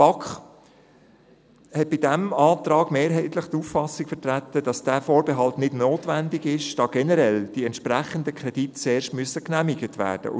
» Die BaK vertrat bei diesem Antrag mehrheitlich die Auffassung, dass dieser Vorbehalt nicht notwendig ist, da die entsprechenden Kredite zuerst generell genehmigt werden müssen.